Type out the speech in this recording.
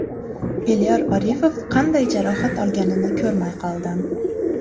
Elyor Orifov qanday jarohat olganini ko‘rmay qoldim.